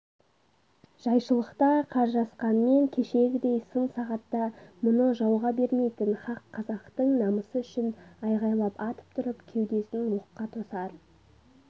жайшылықта қаржасқанмен кешегідей сын сағатта мұны жауға бермейтін хақ қазақтың намысы үшін айғайлап атып тұрып кеудесін оққа тосар